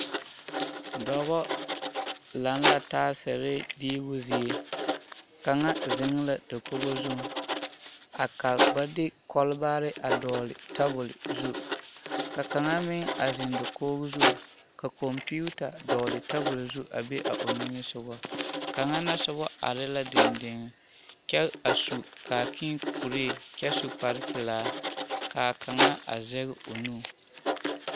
dɔɔ ziŋ la a die poɔ ka gama doŋle a tabol zu ane gelaasere ka kaŋ Irish are a kaboote zu kyɛ yeli yɛllɛ.